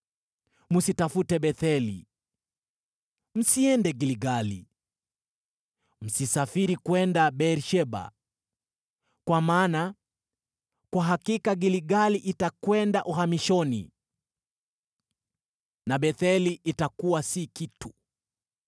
msitafute Betheli, msiende Gilgali, msisafiri kwenda Beer-Sheba. Kwa maana kwa hakika Gilgali itakwenda uhamishoni, na Betheli itafanywa kuwa si kitu.”